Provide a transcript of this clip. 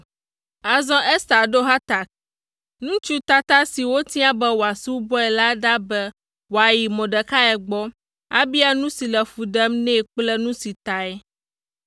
Azɔ Ester ɖo Hatak, ŋutsu tata si wotia be wòasubɔe la ɖa be wòayi Mordekai gbɔ, abia nu si le fu ɖem nɛ kple nu si tae.